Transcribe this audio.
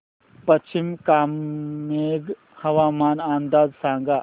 पश्चिम कामेंग हवामान अंदाज सांगा